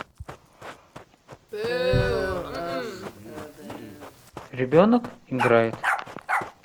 ребенок играет